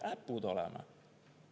Äpud oleme.